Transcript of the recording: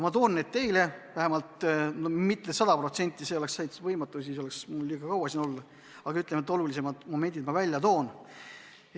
Ma toon need teieni mitte sada protsenti – see oleks täitsa võimatu, siis tuleks mul liiga kaua siin puldis olla –, aga olulisemad momendid ma välja toon.